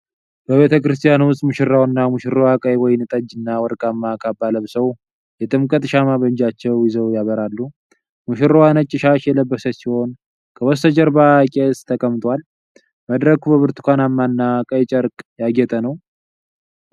በቤተ ክርስቲያን ውስጥ ሙሽራውና ሙሽራዋ ቀይ ወይንጠጅ እና ወርቃማ ካባ ለብሰው፣ የጥምቀት ሻማ በእጃቸው ይዘው ያበራሉ። ሙሽራዋ ነጭ ሻሽ የለበሰች ሲሆን ከበስተጀርባ ቄስ ተቀምጠዋል። መድረኩ በብርቱካናማ እና ቀይ ጨርቅ ያጌጠ ነው።